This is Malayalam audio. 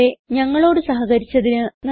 ഞങ്ങളോട് സഹകരിച്ചതിന് നന്ദി